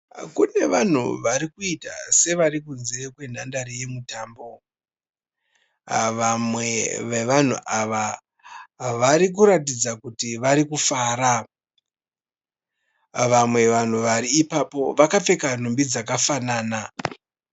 Kune vanhu varikuita sevari kunze kwenhandare yemutambo. Vamwe vevanhu ava varikuratidza kuti vari kufara. Vamwe vanhu vari ipapo vakapfeka nhumbi dzakafanana.